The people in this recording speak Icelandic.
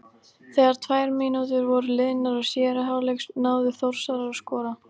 Þegar tvær mínútur voru liðnar af síðari hálfleik náðu Þórsarar að skora.